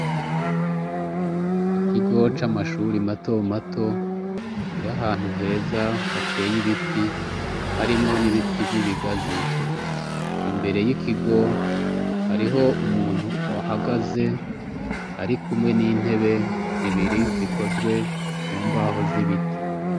Ikigo c'amashuri mato mato kiri ahantu heza hateye ibiti harimwo n'ibiti vy'ibigazi, imbere y'ikigo hariho umuntu ahagaze ari kumwe n'intebe zibiri zikozwe mu mbaho z'ibiti.